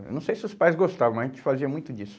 Eu não sei se os pais gostavam, mas a gente fazia muito disso.